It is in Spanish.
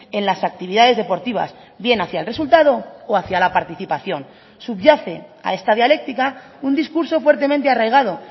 en las actividades deportivas bien hacia el resultado o hacía la participación subyace a esta dialéctica un discurso fuertemente arraigado